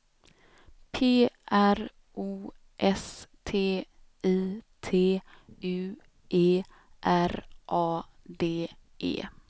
P R O S T I T U E R A D E